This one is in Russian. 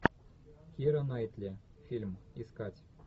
кира найтли фильм искать